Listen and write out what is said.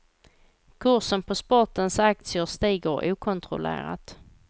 Kursen på sportens aktier stiger okontrollerat.